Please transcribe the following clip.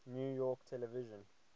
new york television